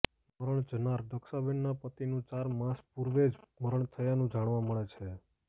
મરણ જનાર દક્ષાબેનના પતિનું ચાર માસ પૂર્વે જ મરણ થયાનું જાણવા મળે છે